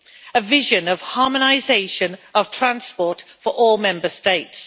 a vision of harmonisation of transport for all Member States.